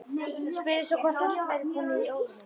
Spurði svo hvort allt væri komið í óefni.